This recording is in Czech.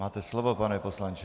Máte slovo, pane poslanče.